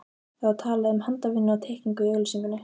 Það var talað um handavinnu og teikningu í auglýsingunni.